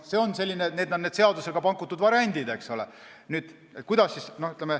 Need on need seadusega pakutud variandid.